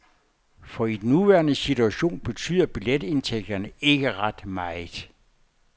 For i den nuværende situation betyder billetindtægterne ikke ret meget.